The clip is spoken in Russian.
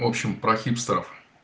в общем про хипстеров